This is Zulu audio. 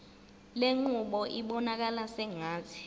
lenqubo ibonakala sengathi